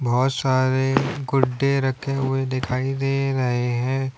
बहोत सारे गुड्डे रखे हुए दिखाई दे रहे है।